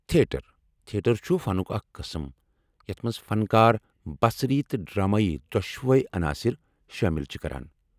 Theatre چھٗ فنک اکھ قسم یتھ منٛز فنکار بصری تہٕ ڈرامٲیی دۄشؤے عناصر شٲمل چھ کران۔